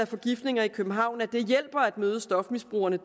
forgiftninger i københavn at det hjælper at møde stofmisbrugerne